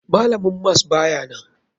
Malamin mas bayanan.